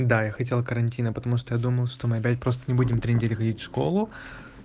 да я хотел карантина потому что я думал что мы опять просто не будем три недели ходить в школу